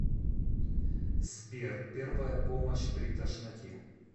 сбер первая помощь при тошноте